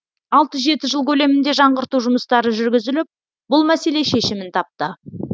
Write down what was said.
алты жеті жыл көлемінде жаңғырту жұмыстары жүргізіліп бұл мәселе шешімін тапты